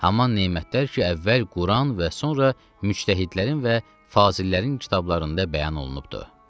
Haman nemətlər ki əvvəl Quran və sonra müctəhidlərin və fazillərin kitablarında bəyan olunubdur.